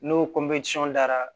N'o dara